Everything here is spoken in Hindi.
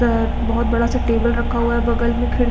त बहोत बडा सा टेबल रखा हुआ है बगल में खिड़ --